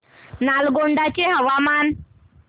नालगोंडा चे हवामान